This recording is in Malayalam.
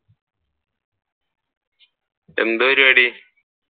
എന്താ പരിപാടി?